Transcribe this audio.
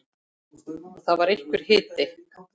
Og það var einhver hiti.